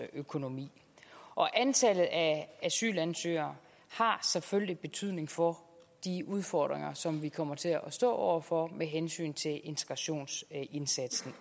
økonomi og antallet af asylansøgere har selvfølgelig også betydning for de udfordringer som vi kommer til at stå over for med hensyn til integrationsindsatsen